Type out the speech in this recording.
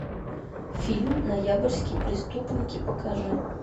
фильм ноябрьские преступники покажи